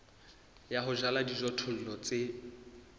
ya ho jala dijothollo tse